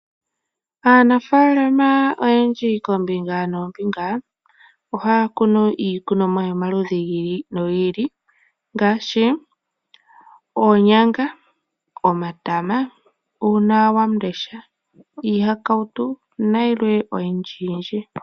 Aanafalama oyendji kombinga nombinga ohaya kunu iikunomwa yomaludhi gili no gili ngashi onyanga, omata ,uunawandesha, ihakautu nayilwe oyindji yindji.